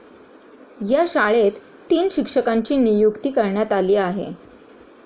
या शाळेत तीन शिक्षकांची नियुक्ती करण्यात आली आहे.